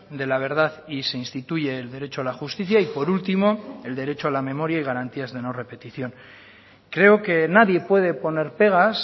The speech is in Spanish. de la verdad y se instituye el derecho a la justicia y por último el derecho a la memoria y garantías de no repetición creo que nadie puede poner pegas